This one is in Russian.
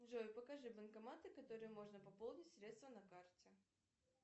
джой покажи банкоматы в которых можно пополнить средства на карте